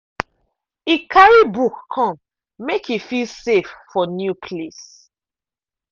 e carry book come make e feel safe for new place.